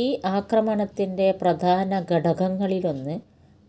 ഈ ആക്രമണത്തിന്റെ പ്രധാന ഘടകങ്ങളിലൊന്ന്